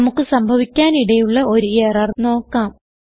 നമുക്ക് സംഭവിക്കാനിടയുള്ള ഒരു എറർ നോക്കാം